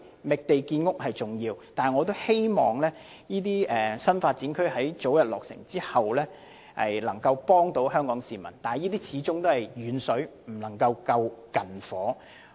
覓地建屋是重要的，我也希望新發展區能早日落成，為香港市民提供居所，但始終"遠水不能救近火"。